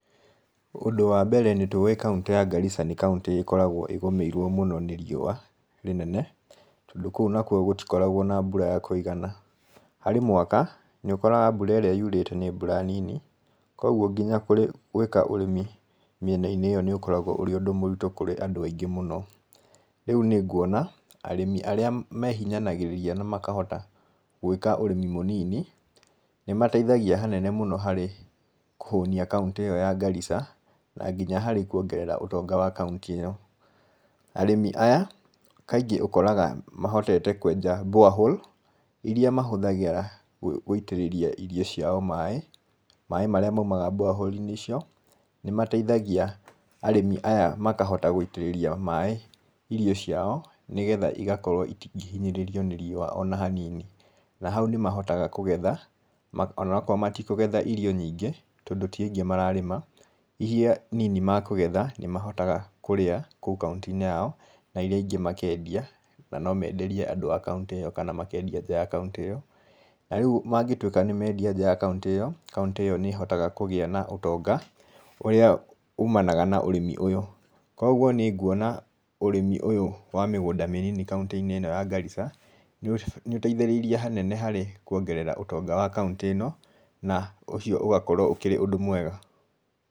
Ũndũ wambere nĩ tũĩ kauntĩ ya Garissa nĩ kauntĩikoragwo ĩgũmĩirwo mũno nĩ riũa rĩnene, tondũ kũu nakuo gũtikoragwo na mbura ya kũigana harĩ mwaka nĩ ũkoraga mbura ĩríĩ yurĩte nĩ mbura nini, koguo nginya gwĩka ũrĩmi mĩenainĩ ĩyo nĩ ũkoragwo ũrĩ ũndũ mũritũ kũrĩ andũ aingĩ mũno, rĩu nĩ nguona arĩmi arĩa mehinyanagĩrĩria na makahota gwĩka ũrĩmi mũnini, nĩ mateithagia hanene mũno harĩ kũhũnia kauntĩ ĩyo ya Garissa na nginya harĩ kuongerera ũtonga wa kauntĩ ĩyo. Arĩmi aya kaingĩ ũkoraga mahotete kwenja borehole, iria mahũthagĩra gũitĩrĩria irio ciao maĩ, maĩ marĩa maumaga borehole inĩ icio, nĩ mateithagia arĩmi aya makahota gũitĩrĩria maĩ irio ciao, nĩgetha igakorwo itingĩhinyĩrĩrio nĩ riũa ona hanini, na hau nĩ mahotaga kũgetha onokorwo matikũgetha irio nyingĩ tondũ ti aingĩ mararĩma, iria nini makũgetha nĩ mahotaga kũrĩa kũu kauntĩ-inĩ yao, na iria ingĩ makendia na no menderie andũ a kauntĩ ĩyo kana makendia nja ya kauntĩ ĩyo, na rĩu mangĩtuĩka nĩ mendia nja ya kuntĩ ĩyo, kaũntĩ ĩyo nĩ ĩhotaga kũgĩa na ũtonga ũrĩa umanaga na ũrĩmi ũyũ. Koguo nĩ nguona ũrĩmi ũyũ wa mĩgũnda mĩnini kauntĩ-inĩ ĩno ya Garissa, nĩ ũteithĩrĩirie hanene harĩ kuongerera ũtonga wa kauntĩ ĩno na ũcio ũgakorwo ũkĩrĩ ũndũ mwega.